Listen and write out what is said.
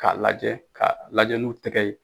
K'a lajɛ, ka lajɛ n'u tɛgɛ ye.